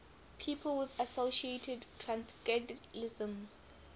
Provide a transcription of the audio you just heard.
people associated with transcendentalism